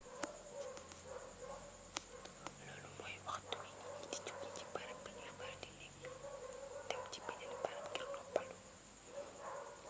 loolu mooy waxtu wi nit ñi di joge ci barab bi ñuy faral di nekk dem ci beneen barab ngir noppalu